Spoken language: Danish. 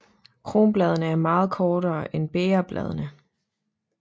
Kronbladene er meget kortere end bægerbladene